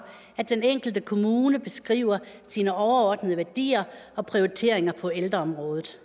at den enkelte kommune beskriver sine overordnede værdier og prioriteringer på ældreområdet